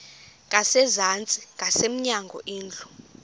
ngasezantsi ngasemnyango indlu